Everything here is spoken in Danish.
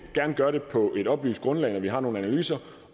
gerne gøre det på et oplyst grundlag når vi har nogle analyser